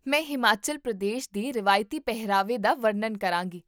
ਮੈਂ ਹਿਮਾਚਲ ਪ੍ਰਦੇਸ਼ ਦੇ ਰਵਾਇਤੀ ਪਹਿਰਾਵੇ ਦਾ ਵਰਣਨ ਕਰਾਂਗੀ